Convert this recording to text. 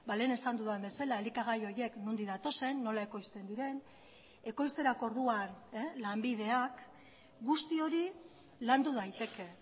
lehen esan dudan bezala elikagai horiek nondik datozen nola ekoizten diren ekoizterako orduan lanbideak guzti hori landu daiteke